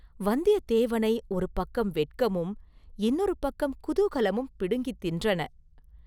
வந்தியத்தேவனை ஒரு பக்கம் வெட்கமும் இன்னொருபுறம் குதூகலமும் பிடுங்கித் தின்றன.